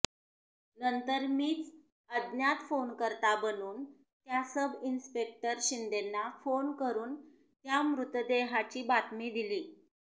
नंतर मीच अज्ञात फोनकर्ता बनुन त्या सब इन्स्पेक्टर शिंदेंना फोन करुन त्या मृतदेहाची बातमी दिली